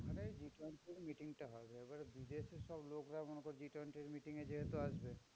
ওখানে meeting টা হবে। এবারে বিদেশের সব লোকরা G twenty র meeting এ যেহেতু আসবে,